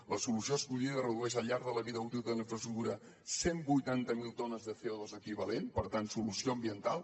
la solució escollida redueix al llarg de la vida útil de la infraestructura cent i vuitanta miler tones de colent per tant solució ambiental